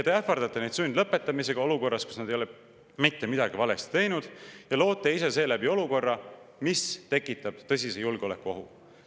Te ähvardate neid sundlõpetamisega olukorras, kus nad ei ole mitte midagi valesti teinud, ja loote ise seeläbi olukorra, mis tekitab tõsise julgeolekuohu.